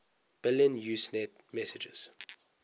billion usenet messages